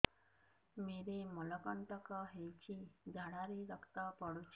ମୋରୋ ମଳକଣ୍ଟକ ହେଇଚି ଝାଡ଼ାରେ ରକ୍ତ ପଡୁଛି